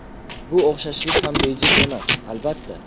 Bu o‘xshashlik ham bejiz emas, albatta.